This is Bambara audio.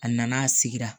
A nana a sigira